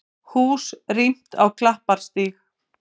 Hús rýmt á Klapparstíg